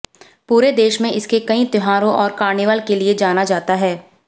पूरे देश में इसके कई त्योहारों और कार्निवल के लिए जाना जाता है